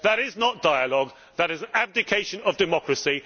That is not dialogue. That is an abdication of democracy.